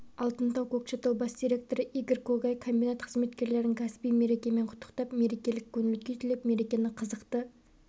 алтынтау көкшетау бас директоры игорь когай комбинат қызметкерлерін кәсіби мерекемен құттықтап мерекелік көңіл-күй тілеп мерекені қызықты